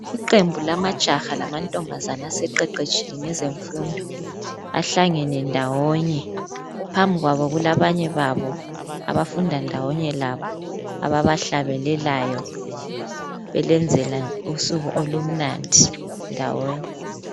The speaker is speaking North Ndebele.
Iqembu lamajaha lamantombazana aseqeqetshile ngezemfundo bahlangene ndawonye phambi kwabo kulabanye babo abafùnda ndawonye labo abahlabelelayo belenzela usuku olimnandi ndawonye.